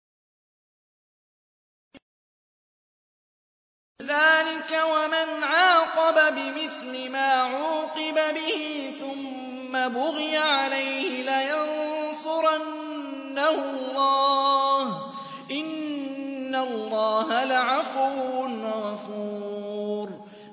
۞ ذَٰلِكَ وَمَنْ عَاقَبَ بِمِثْلِ مَا عُوقِبَ بِهِ ثُمَّ بُغِيَ عَلَيْهِ لَيَنصُرَنَّهُ اللَّهُ ۗ إِنَّ اللَّهَ لَعَفُوٌّ غَفُورٌ